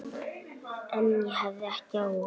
En ég hafði ekki áhuga.